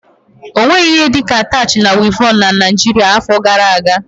Ọ nweghị ihe dị ka atach na wịevọn na Naijiria afọ gara aga.